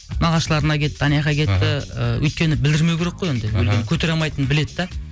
нағашыларына кетті анаяққа кетті і өйткені білдірмеу керек қой енді өлгенін көтере алмайтынын біледі де